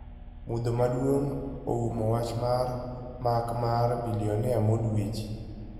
mudho maduongo oumo wach mar mak mar bilionea Mo Dweji.